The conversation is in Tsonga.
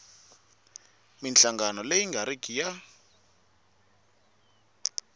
minhlangano leyi nga riki ya